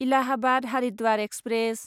Allahabad Haridwar express